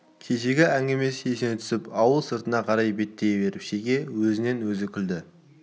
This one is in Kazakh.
кешегі әңгімесі есіне түсіп ауыл сыртына қарай беттей беріп шеге өзінен-өзі күлді